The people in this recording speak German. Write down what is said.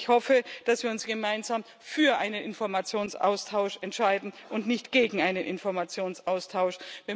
Ich hoffe, dass wir uns gemeinsam für einen Informationsaustausch entscheiden und nicht gegen einen Informationsaustausch.